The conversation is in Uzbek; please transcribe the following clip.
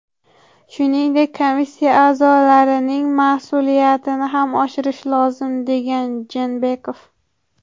Shuningdek, komissiya a’zolarining mas’uliyatini ham oshirish lozim”, degan Jeenbekov.